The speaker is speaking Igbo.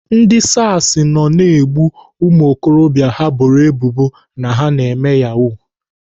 Ndị SARS nọ na-egbu ụmụokorobịa ha boro ebubo na-eme Yahoo.